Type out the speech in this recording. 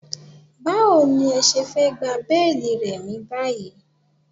Báwo ní ẹ ṣe fẹ́ gba béélì Remi báyìí?